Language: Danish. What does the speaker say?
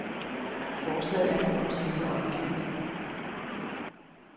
Forslaget er nu omsider opgivet.